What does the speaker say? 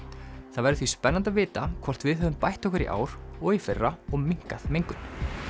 það verður því spennandi að vita hvort við höfum bætt okkur í ár og í fyrra og minnkað mengun